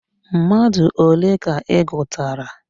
Mmadụ ole ka ị gụtara?